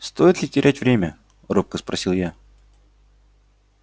стоит ли терять время робко спросил я